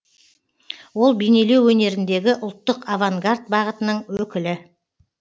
ол бейнелеу өнеріндегі ұлттық авангард бағытының өкілі